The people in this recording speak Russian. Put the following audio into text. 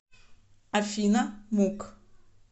афина мук